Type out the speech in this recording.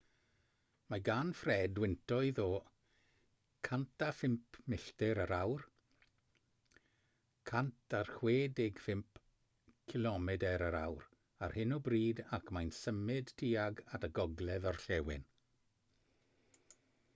mae gan fred wyntoedd o 105 milltir yr awr 165 cilomedr yr awr ar hyn o bryd ac mae'n symud tuag at y gogledd-orllewin